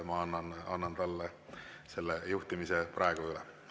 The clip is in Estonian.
Ma annan talle juhtimise praegu üle.